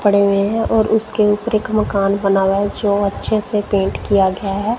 पड़े हुए हैं और उसके ऊपर एक मकान बना हुआ हैं जो अच्छे से पेंट किया गया हैं।